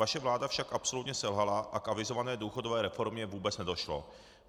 Vaše vláda však absolutně selhala a k avizované důchodové reformě vůbec nedošlo.